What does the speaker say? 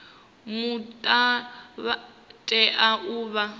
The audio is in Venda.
muta vha tea u vha